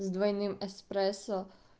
с двойным эспрессо